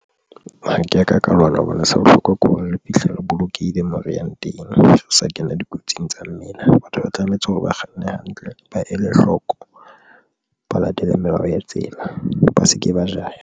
Ha ke ya ka ka lwana hobane se bohlokwa ke hore re fihle re bolokehile, mo re yang teng o sa kena dikotsing tsa mmele. Batho ba tlametse hore ba kganne hantle, ba ele hloko, ba latele melao ya e tsela, ba se ke ba jaha.